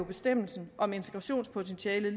bestemmelsen om integrationspotentiale